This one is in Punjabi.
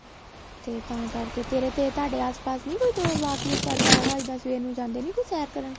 ਤੇ ਤਾਂ ਕਰਕੇ ਤੇਰੇ ਤੇ ਤੁਹਾਡੇ ਆਸ ਪਾਸ ਨਹੀਂ ਕੋਈ walk ਵੁਕ ਕਰਦਾ ਹੈਗਾ ਇੱਦਾਂ ਸਵੇਰ ਨੂੰ ਜਾਂਦਾ ਨਹੀਂ ਹੈਗਾ ਕੋਈ ਸੈਰ ਕਰਨ